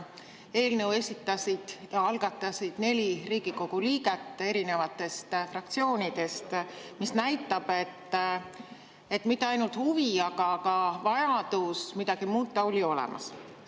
Eelnõu algatasid ja esitasid neli Riigikogu liiget erinevatest fraktsioonidest, mis näitab, et mitte ainult huvi, aga ka vajadus midagi muuta oli olemas.